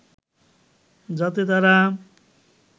যাতে তারা